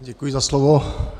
Děkuji za slovo.